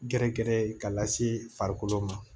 Gɛrɛ gɛrɛ ye ka lase farikolo ma